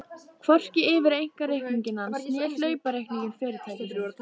Hvorki yfir einkareikning hans né hlaupareikning fyrirtækisins.